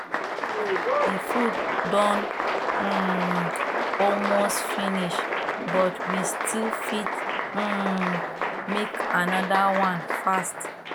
the food don um almost finish but we still fit um make another one fast